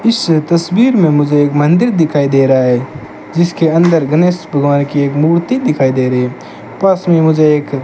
इससे तस्वीर में मुझे एक मंदिर दिखाई दे रहा है जिसके अंदर गणेश भगवान की एक मूर्ति दिखाई दे रही है पास में मुझे एक --